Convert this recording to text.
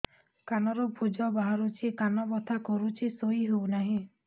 କାନ ରୁ ପୂଜ ବାହାରୁଛି କାନ ବଥା କରୁଛି ଶୋଇ ହେଉନାହିଁ